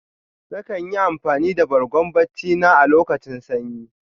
Na kan yi amfani da Bargo barci na a locutan sanyi.